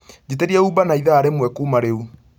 njiĩtĩria Uber na ĩthaa rĩmwe kuuma rĩũ